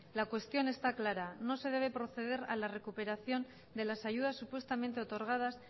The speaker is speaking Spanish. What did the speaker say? la cuestión está clara no se debe proceder a la recuperación de las ayudas supuestamente otorgadas